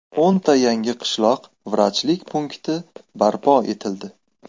O‘nta yangi qishloq vrachlik punkti barpo etildi.